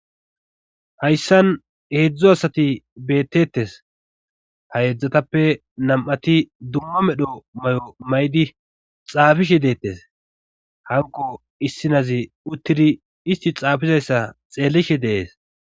hayssan heedzdzu asati beettettes ha yeedzdzatappe nam7ati dumma medho may7o may7di xaafishe deettes hanko issinazi uttidi isti xaafizayssa xeellishe dees